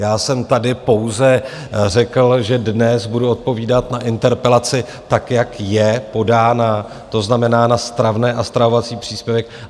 Já jsem tady pouze řekl, že dnes budu odpovídat na interpelaci, tak jak je podána, to znamená na stravné a stravovací příspěvek.